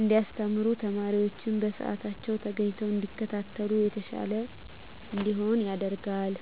እንዲያስተምሩ ተማሪወችም በስአታቸዉ ተገኝተዉ እንዲከታተሉ የተሻለ እንዲሆን ያደርጋል።